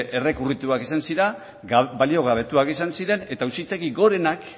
errekurrituak izan ziren baliogabetuak izan ziren eta auzitegi gorenak